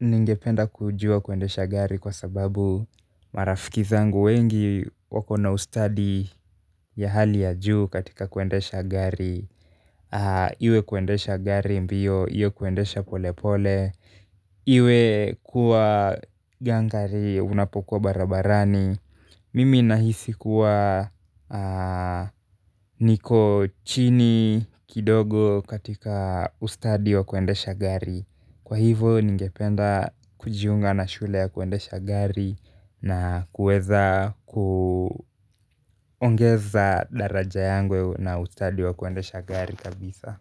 ningependa kujua kuendesha gari kwa sababu marafiki zangu wengi wako na ustadi ya hali ya juu katika kuendesha gari. Iwe kuendesha gari mbio, iwe kuendesha pole pole iwe kuwa gangari unapokuwa barabarani mimi nahisi kuwa niko chini kidogo katika ustadi wa kuendesha gari, kwa hivo ningependa kujiunga na shule ya kuendesha gari na kuweza kuongeza daraja yangu na ustadi wa kuendesha gari kabisa.